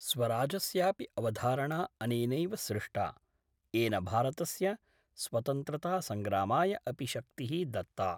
स्वराजस्यापि अवधारणा अनेनैव सृष्टा, येन भारतस्य स्वतंत्रतासंग्रामाय अपि शक्ति: दत्ता।